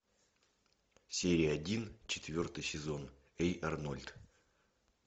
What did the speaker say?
серия один четвертый сезон эй арнольд